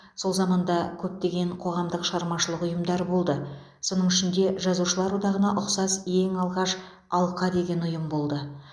сол заманда көптеген қоғамдық шығармашылық ұйымдар болды соның ішінде жазушылар одағына ұқсас ең алғаш алқа деген ұйым болды